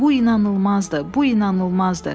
Bu inanılmazdır, bu inanılmazdır.